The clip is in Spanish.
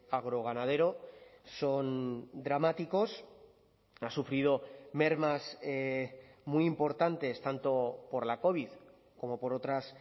agroganadero son dramáticos ha sufrido mermas muy importantes tanto por la covid como por otras